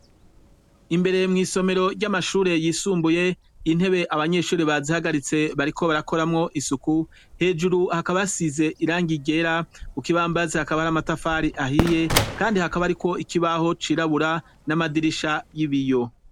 Imbere mw'isomero ry'amashure yisumbuye intebe abanyeshuri bazihagaritse bariko barakoramwo isuku hejuru hakabasize iranga igera u kibambazi hakaba hari amatafari ahiye, kandi hakaba, ariko ikibaho cirabura n'amadirisha y'ibiyo.